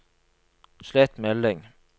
slett melding